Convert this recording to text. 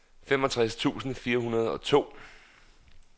femogtres tusind fire hundrede og to